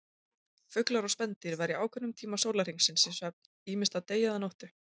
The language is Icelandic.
Fuglar og spendýr verja ákveðnum tíma sólarhringsins í svefn, ýmist að degi eða nóttu.